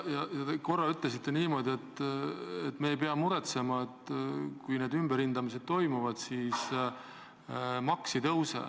Te korra ütlesite niimoodi, et me ei pea muretsema, sest kui need ümberhindamised toimuvad, siis maks ei tõuse.